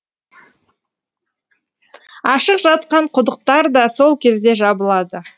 ашық жатқан құдықтар да сол кезде жабылады